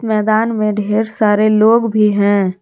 मैदान में ढेर सारे लोग भी हैं।